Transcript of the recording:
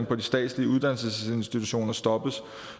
på de statslige uddannelsesinstitutioner stoppes